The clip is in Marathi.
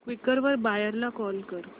क्वीकर वर बायर ला कॉल कर